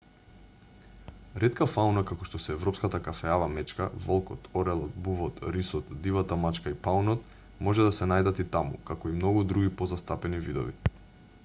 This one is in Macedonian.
ретка фауна како што се европската кафеава мечка волкот орелот бувот рисот дивата мачка и паунот може да се најдат таму како и многу други позастапени видови